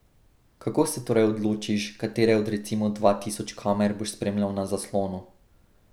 Kako se torej odločiš, katere od recimo dva tisoč kamer boš spremljal na zaslonu?